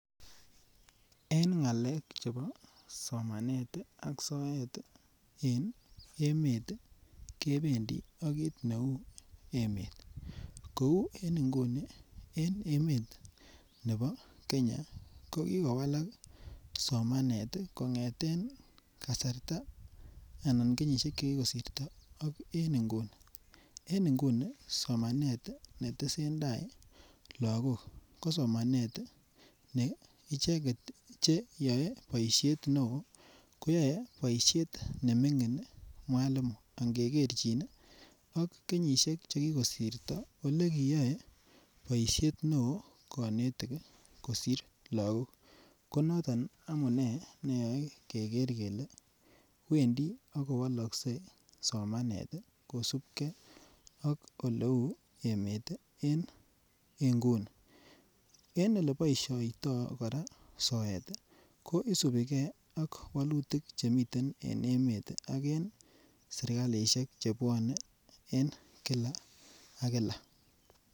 En ngalek chebo somanet ak soet en emet kebendi ak kiit neu emet kou en inguni en emet nebo Kenya kokikowalak somanet ii konget kasarta anan kenyishek chekikosirto ak en inguni ,en inguni somanet netesetai lagok ko somanet ne ichenget che yae boishiet neo koyae boishiet nemingin mwalimu angeger chin ii ak kenyishek chekikosirto ole kiiyae boishiet neo kanetik kosir lagok konoton amunee keger kele Wendi akowoloskei somanet kosubkei ak oleu emet en inguni en ole boishendoo soet ii ko isubigee ak wolutik che miten en emet ak en sirikalishek chebwone en Kila ak Kila.